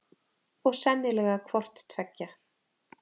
Og sennilega hvort tveggja.